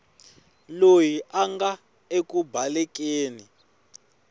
loyi a nga eku balekeni